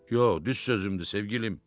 Yox, düz sözümdür sevgilim.